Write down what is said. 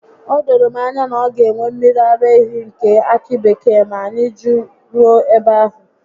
O doro m anya na ọ ga enwe mmiri ara ehi nke akị bekee ma anyị jeruo ebe ahụ